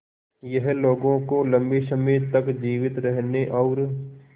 यह लोगों को लंबे समय तक जीवित रहने और